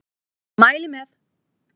Mæli með!